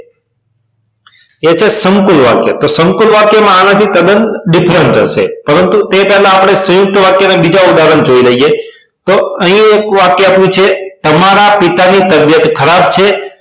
એ છે સંકૂલ વાક્ય તો સંકૂલ વાક્ય માં આનાથી તદન different જ છે પરંતુ તે પહેલા આપણે સયુંકત વાક્ય ના બીજા ઉદાહરણ જોઈ લઈએ પણ અહી એક વાક્ય આપ્યું છે તમાર પિતાની તબિયત ખરાબ છે